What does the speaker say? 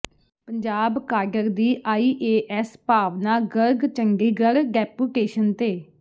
Punjab cadre ਦੀ IAS Bhavna Garg Chandigarh deputation ਤੇ